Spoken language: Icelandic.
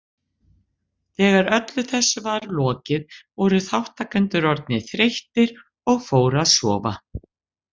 Þegar öllu þessu var lokið voru þátttakendur orðnir þreyttir og fóru að sofa.